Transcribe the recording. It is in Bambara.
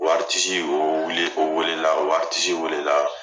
O o o wele o wele la o wele la.